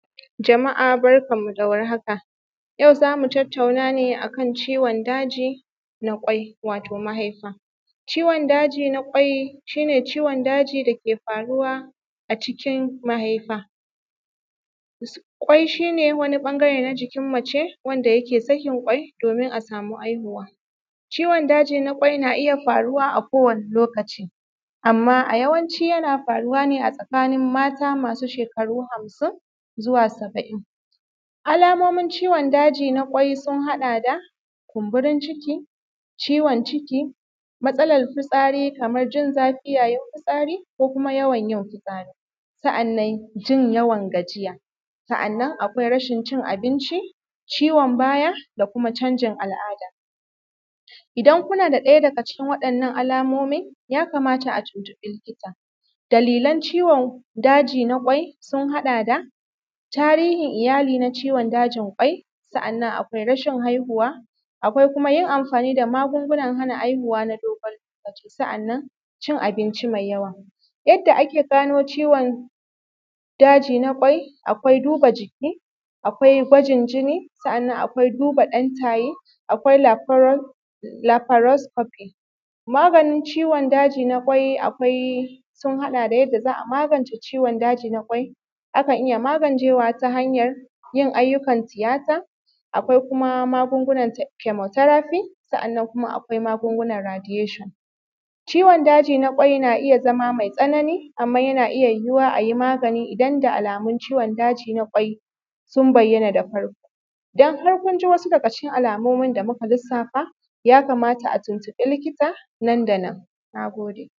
Jama’a barkanmu da warhaka yau za mu tattauna ne akan ciwon daji na kwai, wato mahaifa. Ciwon daji na kwai shi ne ciwon daji da ke faruwa a cikin mahaifa, kwai shi ne wani ɓangare na jikin mace wanda ke sakin kwai domin a samu haihuwa, ciwon daji na kwai na iya faruwa akowane lokaci amma yawanci yana faruwa ne a tsakin mata masu shekaru hamsin zuwa saba’in. Alamomin ciwon daji na kwai sun haɗa da kumburin ciki, ciwo ciki, matsalar fisati kamar jin zafi yayin fitasri ko kuma yawan yin fitsari, sa’annan jin yawan gajiya, sa’annan akwai rashin cin abinci, ciwon baya da kuma canjin al’ada idan kuna da ɗaya daga cikin kalan waɗannan alamomin ya kamata a tuntuɓi likita. Dalilan ciwon daji na kwai sun haɗa da tarihin iyali na ciwon dajin kwai, sa’an akwai rashin haihuwa, akwai yin amfani da magungunan hana haihuwa na dogon lokaci, sa’annan cin abnci me yawa yadda ake gano ciwon daji na kwai. Akwai duba jiki, akwi gwajin jinni, sa’annan akwai duba ɗan taye, akwai laforan lafaros kofi. Maganin ciwon daji na kwai, akwai sun haɗa da yadda za a magance ciwon daji na kwai, akan iya magancewa ta hanyan yin ayyukan tiyata, akwai kuma akwai magunu nata kemoterafi sa’annan kuma akwai kuma akwai magungunan radiyeshon. Ciwon daji na kwai na iya zama me tsanani, amma a yana iya yiyuwa a yi magnai idan da alamun ciwon daji na kwai sun bayyana da farko idan har kun ji daga cikin alamun da muka lissafa, ya kamata a tuntuɓi likita nan da nan. Na gode.